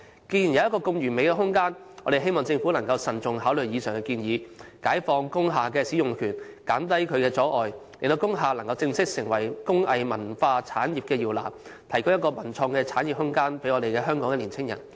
既然有一個如此完美的空間，我們希望政府能慎重考慮上述建議，解放工廈使用權的限制，減低一切阻礙，讓工廈能夠正式成為工藝文化產業的搖籃，提供一個文創產業的發展空間給香港青年人。